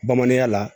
Bamananya la